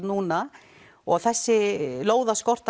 núna og þessi